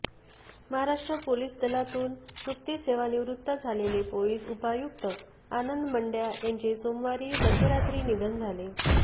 Maharashtra police दलातून नुकतेच सेवानिवृत्त झालेले पोलीस उपायुक्त आनंद मंडया यांचे सोमवारी मध्यरात्री निधन झाले